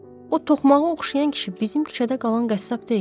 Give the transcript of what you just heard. O toxmağa oxşayan kişi bizim küçədə qalan qəssab deyil?